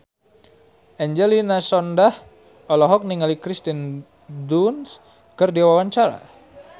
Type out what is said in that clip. Angelina Sondakh olohok ningali Kirsten Dunst keur diwawancara